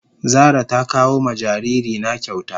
Zara ta kawo ma jariri na kyauta.